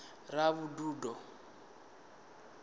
ravhududo